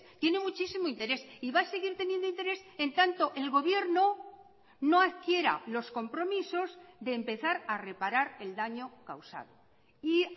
tiene muchísimo interés y va a seguir teniendo interés en tanto el gobierno no adquiera los compromisos de empezar a reparar el daño causado y